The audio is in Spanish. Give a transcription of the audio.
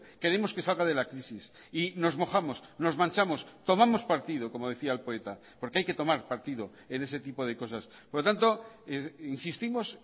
queremos que salga de la crisis y nos mojamos nos manchamos tomamos partido como decía el poeta porque hay que tomar partido en ese tipo de cosas por lo tanto insistimos